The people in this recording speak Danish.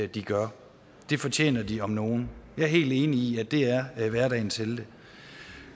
de gør det fortjener de om nogen jeg er helt enig i at de er hverdagens helte